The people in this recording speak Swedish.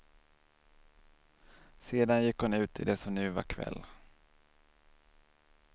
Sedan gick hon ut i det som nu var kväll.